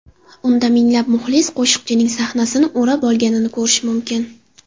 Unda minglab muxlis qo‘shiqchining sahnasini o‘rab olganini ko‘rish mumkin.